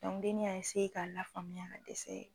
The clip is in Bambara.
dennin y'a k'a lafaamuya ka dɛsɛ.